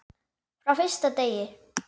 Frá fyrsta degi.